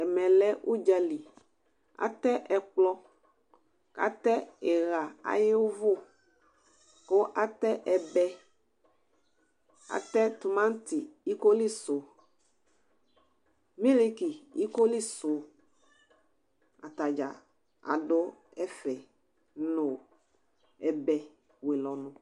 Ɛmɛ ʊdzali: atɛ ɛkplɔ,k' atɛ ɩɣa aƴʋ ʊvʊ,kʋ atɛ ɛbɛ, tʋmatɩ ikolisʋ, miliki ikolisʋ, ata dza adʋ ɛfɛ nʋ ɛbɛ wele ɔnʋ